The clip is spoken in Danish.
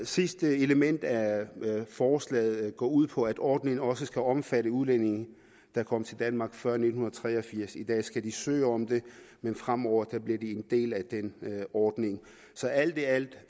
sidste element af forslaget går ud på at ordningen også skal omfatte udlændinge der kom til danmark før nitten tre og firs i dag skal de søge om det men fremover bliver de en del af den ordning så alt i alt